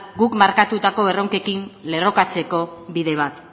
guk markatutako erronkekin lerrokatzeko bide bat